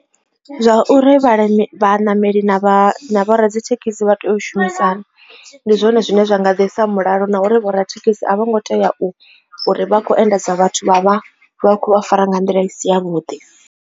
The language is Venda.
Zwa uri vhalimi vha ṋameli na vho radzithekhisi vha tea u shumisana ndi zwone zwine zwa nga ḓisa mulalo na uri vho radzithekhisi a vho ngo tea u uri vha kho endadza vhathu vha vha vha khou fara nga nḓila i si ya vhuḓi.